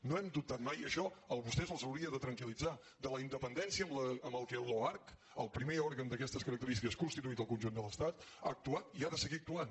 no hem dubtat mai i això a vostès els hauria de tranquil·litzar de la independència amb què l’oarcc el primer òrgan d’aquestes característiques constituït al conjunt de l’estat ha actuat i ha de seguir actuant